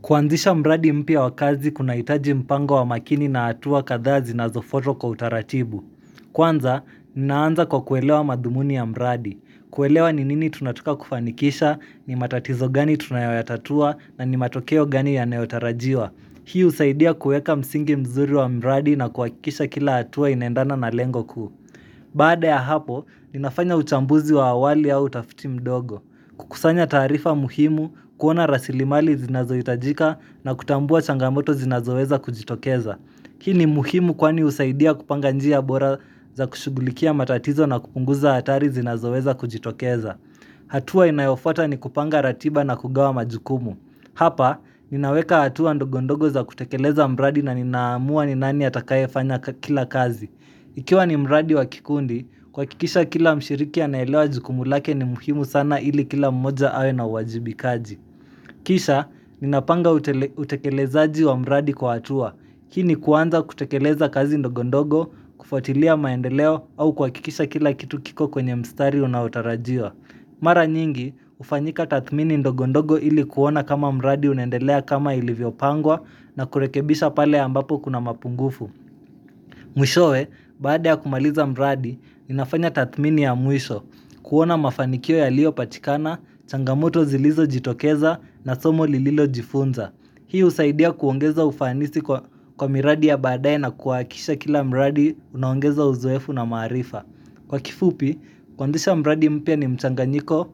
Kuanzisha mradi mpya wa kazi kuna hitaji mpango wa makini na hatuwa kadhaa zinazo fatwa kwa utaratibu. Kwanza, ninaanza kwa kuelewa madhumuni ya mradi. Kuelewa ni nini tunataka kufanikisha, ni matatizo gani tunayo yatatua, na ni matokeo gani yanayo tarajiwa. Hii usaidia kueka msingi mzuri wa mradi na kuhakikisha kila atuwa inaendana na lengo kuu. Baada ya hapo, ninafanya uchambuzi wa awali au tafiti ndogo. Kukusanya tarifa muhimu kuona rasilimali zinazo itajika na kutambua changamoto zinazo weza kujitokeza hii ni muhimu kwani usaidia kupanga njia bora za kushugulikia matatizo na kupunguza hatari zinazo weza kujitokeza hatua inayofata ni kupanga ratiba na kugawa majukumu hapa, ninaweka hatua ndogondogo za kutekeleza mradi na ninaamua ni nani atakaye fanya kila kazi Ikiwa ni mradi wa kikundi, kuhakikisha kila mshiriki anaelewa jukumu lake ni muhimu sana ili kila mmoja awe na uwajibikaji. Kisha, ninapanga utekelezaaji wa mradi kwa hatua. Hii ni kuanza kutekeleza kazi ndogo ndogo, kufatilia maendeleo au kuhakikisha kila kitu kiko kwenye mstari unao tarajiwa. Mara nyingi, ufanyika tathmini ndogo ndogo ili kuona kama mradi unendelea kama ilivyo pangwa na kurekebisha pale ambapo kuna mapungufu. Mwishowe, baada ya kumaliza mradi, inafanya tathmini ya mwisho kuona mafanikio yaliyo patikana, changamoto zilizo jitokeza na somo nilililo jifunza hii usaidia kuongeza ufanisi kwa miradi ya baadaye na kuhakikisha kila mradi unaongeza uzoefu na maarifa Kwa kifupi, kuanzisha mradi mpya ni mchanganyiko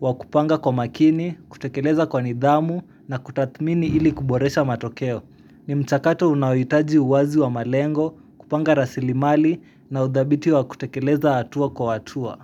wa kupanga kwa makini, kutekeleza kwa nidhamu na kutathmini ili kuboresha matokeo ni mchakato unaohitaji uwazi wa malengo kupanga rasilimali na udhabiti wa kutekeleza hatua kwa hatua.